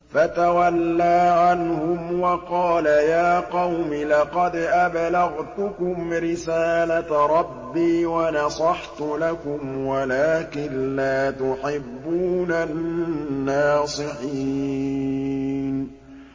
فَتَوَلَّىٰ عَنْهُمْ وَقَالَ يَا قَوْمِ لَقَدْ أَبْلَغْتُكُمْ رِسَالَةَ رَبِّي وَنَصَحْتُ لَكُمْ وَلَٰكِن لَّا تُحِبُّونَ النَّاصِحِينَ